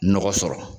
Nɔgɔ sɔrɔ